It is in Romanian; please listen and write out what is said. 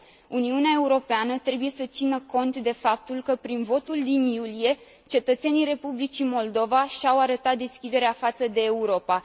Uniunea Europeană trebuie să țină cont de faptul că prin votul din iulie, cetățenii Republicii Moldova și au arătat deschiderea față de Europa.